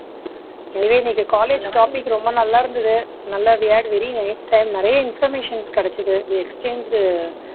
anyway இன்னைக்கு college topic ரொம்ப நல்லா இருந்துது நல்லா we had very nice time நிறைய information கிடைச்சுது we exchanged